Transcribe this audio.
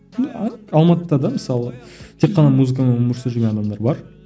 алматыда да мысалы тек қана музыкамен өмір сүріп жүрген адамдар бар